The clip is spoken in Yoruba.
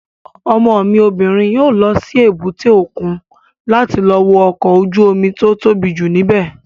Ọmọ mi obìnrin yóò lọ sí èbúté òkun láti lọ wo ọkọ̀ ojú-omi tó tóbi jù ní bẹ̀